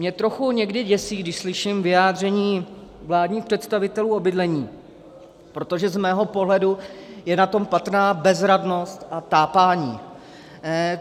Mě trochu někdy děsí, když slyším vyjádření vládních představitelů o bydlení, protože z mého pohledu je na tom patrná bezradnost a tápání.